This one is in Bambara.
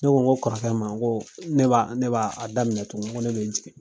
Ne ko kɔrɔkɛ ma ko ne b'a b'a daminɛ tugun ko ne bɛ jigin.